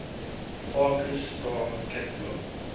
hipparchus star catalog